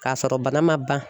K'a sɔrɔ bana ma ban